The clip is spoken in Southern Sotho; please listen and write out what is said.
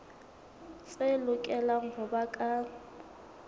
tse lokelang ho ba ka